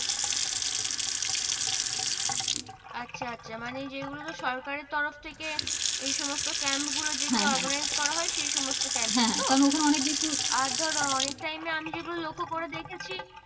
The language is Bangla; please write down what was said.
আচ্ছা আচ্ছা মানে যে গুলোতে সরকারের তরফ থেকে এই সমস্থ camp গুলো যেগুলো organize করা হয় সেই সমস্থ campus আর ধরো অনেক টাই আমি যেঁগুলো লক্ষ করে দেখছি